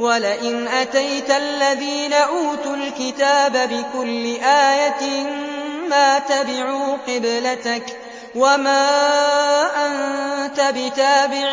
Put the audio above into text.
وَلَئِنْ أَتَيْتَ الَّذِينَ أُوتُوا الْكِتَابَ بِكُلِّ آيَةٍ مَّا تَبِعُوا قِبْلَتَكَ ۚ وَمَا أَنتَ بِتَابِعٍ